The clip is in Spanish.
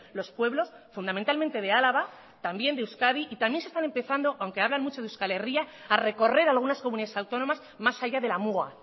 los pueblos fundamentalmente de álava también de euskadi y también se están empezando aunque hablan mucho de euskal herria a recorrer algunas comunidades autónomas más allá de la muga